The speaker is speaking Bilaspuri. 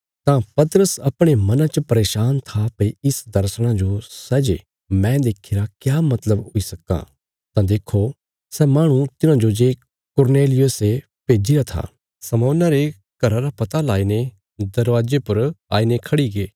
तां पतरस अपणे मना च परेशान था भई इस दर्शणा जो सै जे मैं देखीरा क्या मतलब हुई सक्कां तां देखो सै माहणु तिन्हांजो जे कुरनेलियुसे भेजीरा था शमौना रे घरा रा पता लाईने दरवाजे पर आईने खड़ीगे